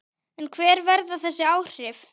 En hver verða þessi áhrif?